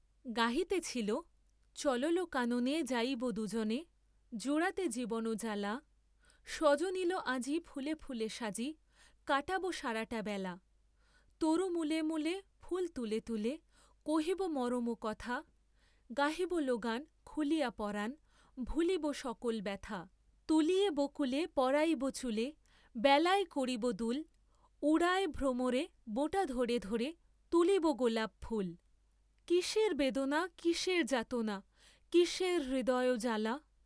গাহিতেছিল, চললো, কাননে যাইব দুজনে জুড়াতে জীবন জ্বালা, সজনিলো, আজি ফুলে ফুলে সাজি কাটাব সরাটা বেলা, তরু মূলে মূলে, ফুল তুলে তুলে, কহিব মরম কথা, গাহিব, লো, গান খুলিয়ে পরাণ, ভুলিব সকল ব্যথা, তুলিয়ে বকুলে পরাইব চূলে, বেলায় করিব দুল, উড়ায়ে ভ্রমরে, বোঁটা ধরে ধরে তুলিব গোলাপ ফুল, কিসের বেদনা, কিসের যাতনা, কিসের হৃদয় জ্বালা?